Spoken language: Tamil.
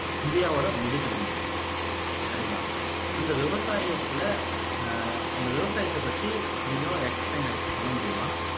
இந்தியாவோட முதுகெலும்பு சரிங்களா அந்த விவசாயத்துல ஆஹ் அந்த விவசாயத்தைப் பத்தி கொஞ்சம் எக்ஸ்பிளய்ன் பண்ண முடியுமா